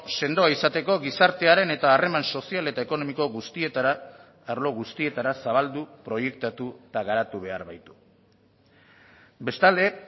sendoa izateko gizartearen eta harreman sozial eta ekonomiko guztietara arlo guztietara zabaldu proiektatu eta garatu behar baitu bestalde